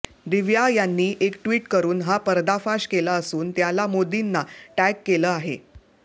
दिव्या यांनी एक ट्विट करून हा पर्दाफाश केला असून त्याला मोदींना टॅग केलं आहे